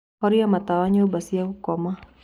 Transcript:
Horĩa matawa nyũmba cĩa gũkoma